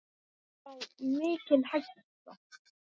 Já, mikil hætta.